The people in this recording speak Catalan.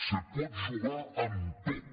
se pot jugar amb tot